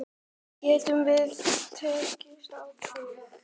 Getum við treyst á þig?